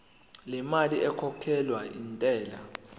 lemali ekhokhelwa intela